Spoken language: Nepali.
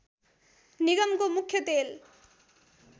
निगमको मुख्य तेल